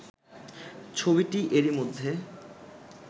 ছবিটি এরই মধ্যে